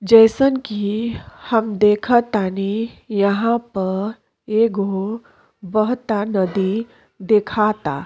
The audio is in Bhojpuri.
जइसन कि हम देखतानी यहाँ पर एगो बहता नदी देखता।